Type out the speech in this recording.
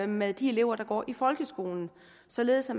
med de elever der går i folkeskolen således at